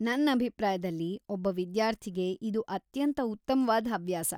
ನನ್‌ ಅಭಿಪ್ರಾಯದಲ್ಲಿ, ಒಬ್ಬ ವಿದ್ಯಾರ್ಥಿಗೆ ಇದು ಅತ್ಯಂತ ಉತ್ತಮ್ವಾದ್ ಹವ್ಯಾಸ.